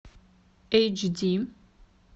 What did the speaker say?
эйч ди